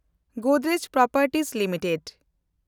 Godrej properties limited